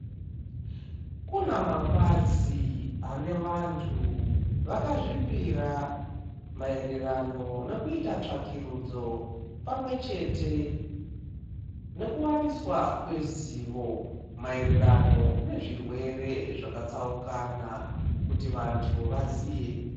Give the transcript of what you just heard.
Kuna mapazi ane vantu vakazvipira maererano nokuita tsvakirudzo pamwe chete noku waniswa kwezivo maererano ne zvirwere zvaka tsaukana kuti vantu vaziye.